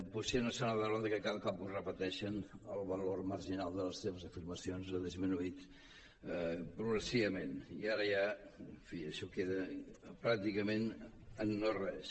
potser no saben veure que cada cop que ho repeteixen el valor marginal de les seves afirmacions ha disminuït progressivament i ara ja en fi això queda pràcticament en no res